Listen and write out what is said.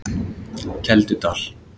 Keldudal